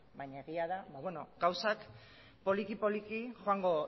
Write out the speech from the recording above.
baina egia da gauzak poliki poliki joango